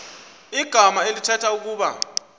igama elithetha ukuba